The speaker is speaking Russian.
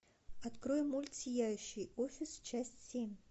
открой мульт сияющий офис часть семь